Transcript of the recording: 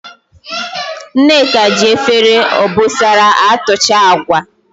Nneka ji Efere obosara atucha Agwa